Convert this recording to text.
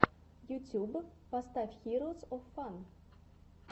ютюб поставь хироус оф фан